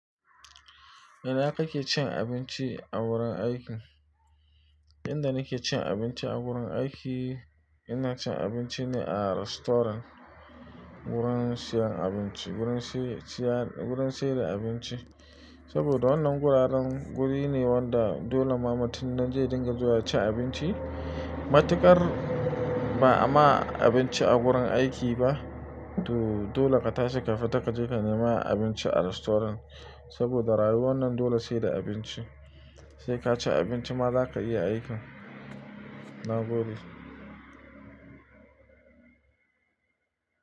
Ina kake cin abinci a wurin aiki? Inda nake cin abinci a wurin aiki, ina cin abinci ne a rastoran. Wurin siyan abinci, wurin siye, siyan, wurin sayar da abinci. Saboda wannan guraren guri ne wanda dole ma mutun nan zai dinga zuwa ci abinci. Matuƙar ba'a ma abinci a wurin aiki ba. Toh, dole ka tashi ka fita, ka je ka nema abinci a rastoran. Saboda rayuwan nan dole sai da abinci. Sai ka ci abinci ma za ka iya aikin. Na gode.